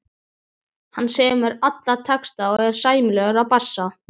Hann semur alla texta og er sæmilegur á bassa.